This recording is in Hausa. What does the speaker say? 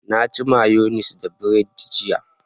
Na ci mayonis da bread jiya